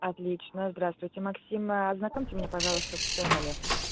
отлично здравствуйте максим ознакомьте мне пожалуйста с ценами